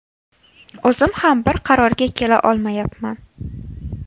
O‘zim ham bir qarorga kela olmayapman.